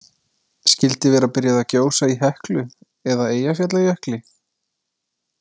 Skyldi vera byrjað að gjósa í Heklu eða Eyjafjallajökli?